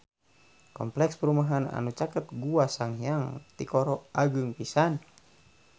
Kompleks perumahan anu caket Gua Sanghyang Tikoro agreng pisan